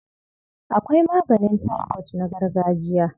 Akwai maganin taifot na gargajiya.